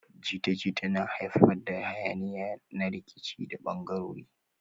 Jita-jita na haifar da yanayi na rikici da bangaranci.